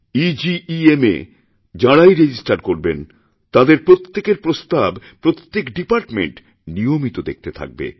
এগেম এ যাঁরাইরেজিস্টার করবেন তাঁদের প্রত্যেকের প্রস্তাব প্রত্যেক ডিপার্টমেণ্ট নিয়মিত দেখতেথাকবে